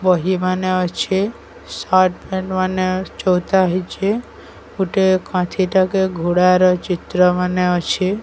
ବହି ମାନେ ଅଛେ ସାର୍ଟ ପ୍ୟାଣ୍ଟ ମାନେ ଚୋଉଥା ହେଇଚେ ଗୋଟେ କାନ୍ଥି ଟା କେ ଘୋଡ଼ାର ଚିତ୍ର ମାନେ ଅଛେ।